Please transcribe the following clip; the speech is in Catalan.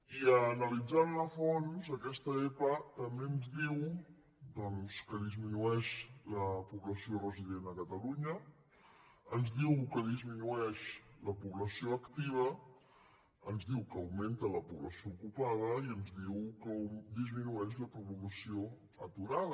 i analitzant la a fons aquesta epa també ens diu doncs que disminueix la població resident a catalunya ens diu que disminueix la població activa ens diu que augmenta la població ocupada i ens diu que disminueix la població aturada